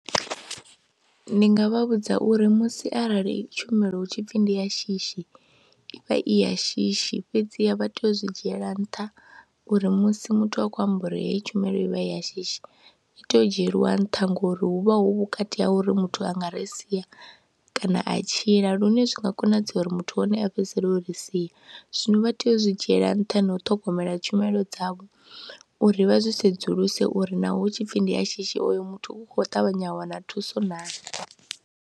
Ndi nga vha vhudza uri musi arali tshumelo hu tshi pfhi ndi ya shishi i vha i ya shishi, fhedziha vha tea u zwi dzhiela nṱha uri musi muthu a khou amba uri heyi tshumelo i vha i ya shishi, i tea u dzhielwa nṱha ngori hu vha hu vhukati ha uri muthu a nga ri sia kana a tshila lune zwi nga konadzea uri muthu hone a fhedzisele o ri sia. Zwino vha tea u zwi dzhiela nṱha na u ṱhogomela tshumelo dzavho uri vha zwi sedzuluse uri naho hu tshi pfhi ndi ya shishi oyo muthu u khou ṱavhanya a wana thuso naa.